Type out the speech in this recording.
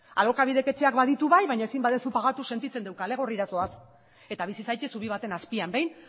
alokabidek etxean baditu bai baina ezin baduzu pagatu sentitzen dugu kale gorrira zoaz eta bizi zaitez zubi baten azpian behin